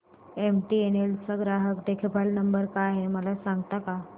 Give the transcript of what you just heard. MTNL चा ग्राहक देखभाल नंबर काय आहे मला सांगता का